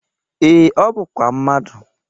Ee, ọ bụkwa mmadụ.